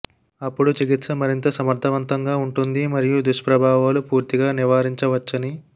అప్పుడు చికిత్స మరింత సమర్థవంతంగా ఉంటుంది మరియు దుష్ప్రభావాలు పూర్తిగా నివారించవచ్చని